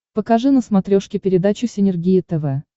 покажи на смотрешке передачу синергия тв